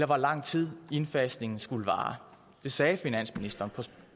hvor lang tid indfasningen skulle vare det sagde finansministeren